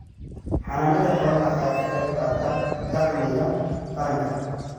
Xanaanada xoolaha ayaa ka qayb qaata dakhliga qaranka.